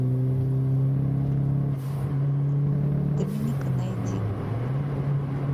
доминика найди